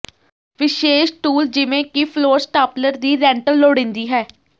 ਵਿਸ਼ੇਸ਼ ਟੂਲ ਜਿਵੇਂ ਕਿ ਫਲੋਰ ਸਟਾਪਲਰ ਦੀ ਰੈਂਟਲ ਲੋੜੀਂਦੀ ਹੈ